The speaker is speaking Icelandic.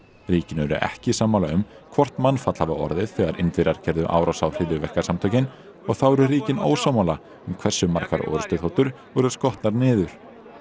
ríkin eru ekki sammála um hvort mannfall hafi orðið þegar Indverjar gerðu árás á hryðjuverkasamtökin og þá eru ríkin ósammála um hversu margar orrustuþotur voru skotnar niður